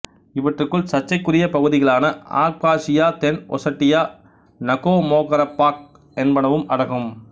இவற்றுள் சர்ச்சைக்குரிய பகுதிகளான ஆப்காசியா தென் ஒசெட்டியா நகோமோகரபாக் என்பனவும் அடங்கும்